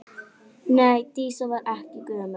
Nei, Dísa var ekki gömul.